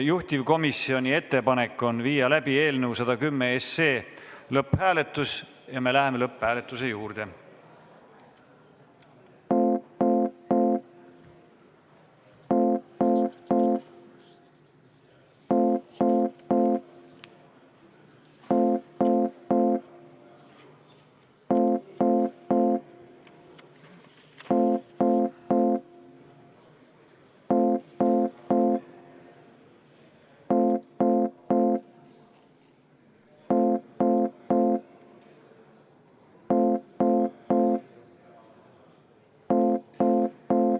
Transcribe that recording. Juhtivkomisjoni ettepanek on viia läbi eelnõu 110 lõpphääletus ja me läheme lõpphääletuse juurde.